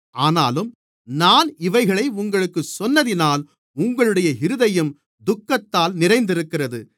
ஆனாலும் நான் இவைகளை உங்களுக்குச் சொன்னதினால் உங்களுடைய இருதயம் துக்கத்தால் நிறைந்திருக்கிறது